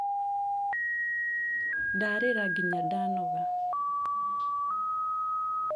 ndarĩra nginya ndanoga